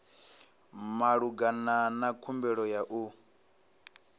malugana na khumbelo ya u